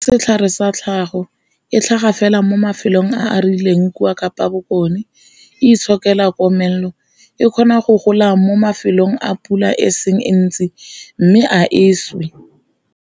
Setlhare sa tlhago, e tlhaga fela mo mafelong a a rileng kwa Kapa Bokone, e itshokela komelelo, e kgona go gola mo mafelong a pula e seng e ntsi, mme a e swe.